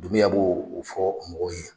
Dumuya bo o fɔ mɔgɔw ye.